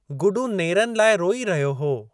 गुडू नेरनि लाइ रोई रहियो हो।